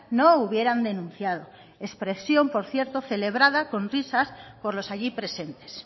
no hubieran denunciado expresión por cierto celebrada con risas por los allí presentes